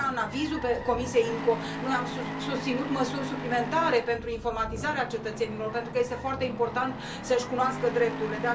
De aceea, în avizul Comisiei IMCO, noi am susținut măsuri suplimentare pentru informatizarea cetățenilor, pentru că este foarte important să își cunoască drepturile.